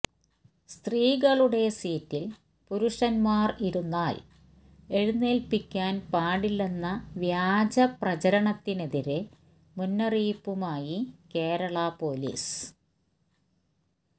സ്ത്രീകളുടെ സീറ്റില് പുരുഷന്മാര് ഇരുന്നാല് എഴുന്നേല്പ്പിക്കാന് പാടില്ലെന്ന വ്യാജ പ്രചരണത്തിനെതിരെ മുന്നറിയിപ്പുമായി കേരള പോലീസ്